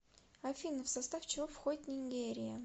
афина в состав чего входит нигерия